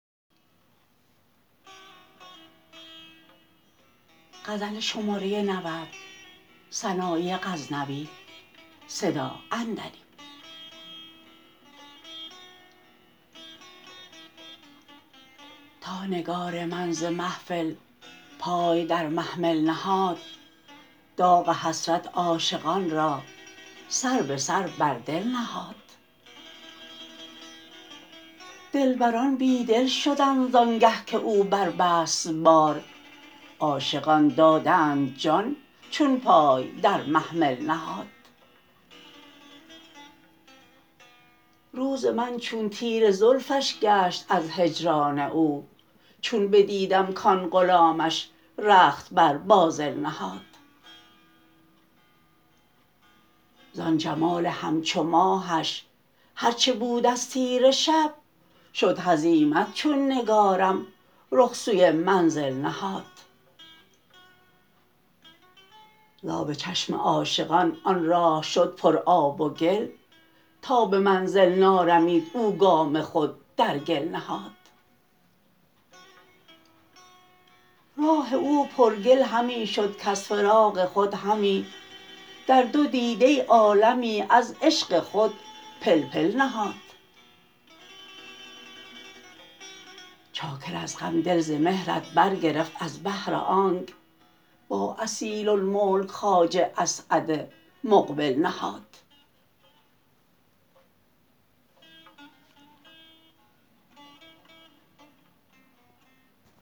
تا نگار من ز محفل پای در محمل نهاد داغ حسرت عاشقان را سر به سر بر دل نهاد دلبران بی دل شدند زان گه که او بربست بار عاشقان دادند جان چون پای در محمل نهاد روز من چون تیره زلفش گشت از هجران او چون بدیدم کآن غلامش رخت بر بازل نهاد زان جمال همچو ماهش هر چه بود از تیره شب شد هزیمت چون نگارم رخ سوی منزل نهاد زآب چشم عاشقان آن راه شد پر آب و گل تا به منزل نارمید او گام خود در گل نهاد راه او پر گل همی شد کز فراق خود همی در دو دیده عالمی از عشق خود پلپل نهاد چاکر از غم دل ز مهرت برگرفت از بهر آنک با اصیل الملک خواجه اسعد مقبل نهاد